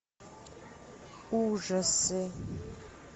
ужасы